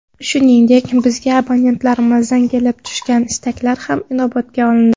Shuningdek, bizga abonentlarimizdan kelib tushgan istaklar ham inobatga olindi.